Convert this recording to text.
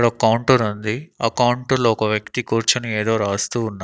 ఈడొక్ కౌంటరుంది ఆ కౌంటర్ లో ఒక వ్యక్తి కూర్చొని ఏదో రాస్తూ ఉన్నా--